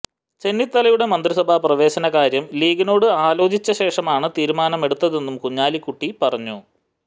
ചെന്നിത്തലയുടെ മന്ത്രിസഭാ പ്രവേശന കാര്യം ലീഗിനോട് ആലോചിച്ച ശേഷമാണ് തീരുമാനം എടുത്തതെന്നും കുഞ്ഞാലിക്കുട്ടി പറഞ്ഞു